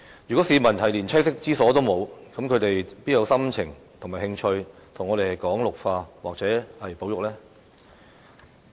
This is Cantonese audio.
如果市民連棲息之所亦欠奉，他們還有心情和興趣與我們討論綠化或保育嗎？